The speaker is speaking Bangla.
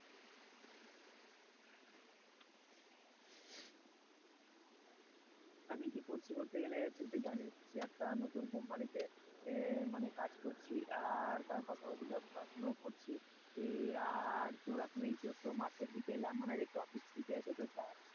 আমি কি করছি বলতে গেলে তুই তো জানিস যে একটা নতুন company তে, মানে কাজ করছি আর তার পাশাপাশি ধর পড়াশোনাও করছি, এখন এটা একটু মাঠের থেকে এলাম মানে একটু office ছুটি আছে তো তাই,